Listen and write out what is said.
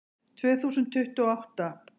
Tvö þúsund tuttugu og átta